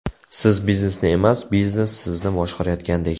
Siz biznesni emas, biznes sizni boshqarayotgandek.